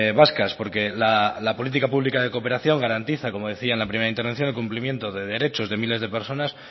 vascas porque la política pública de cooperación garantiza como decía en la primera intervención el cumplimiento de derechos de miles de personas